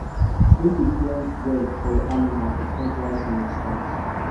make you plan well for your animals before dry season start